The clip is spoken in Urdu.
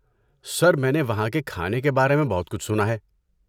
سر، میں نے وہاں کے کھانے کے بارے میں بہت کچھ سنا ہے۔